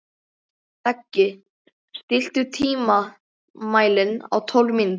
Beggi, stilltu tímamælinn á tólf mínútur.